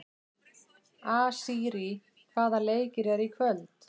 Asírí, hvaða leikir eru í kvöld?